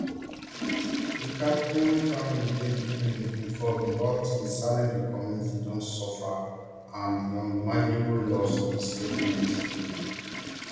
di crafton family dey deeply involved in all things salem di community don suffer an unimaginable loss di statement read